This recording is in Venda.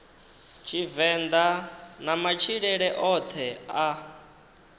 tshivenḓa na matshilele oṱhe a